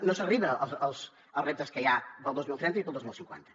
no s’arriba als reptes que hi ha per al dos mil trenta i per al dos mil cinquanta